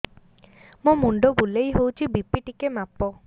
ମୋ ମୁଣ୍ଡ ବୁଲେଇ ହଉଚି ବି.ପି ଟିକେ ମାପ